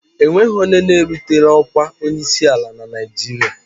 O nweghị onye erutela ọkwa onyeisi ala na Naịjirịa.